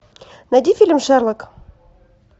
найди фильм шерлок